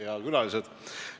Head külalised!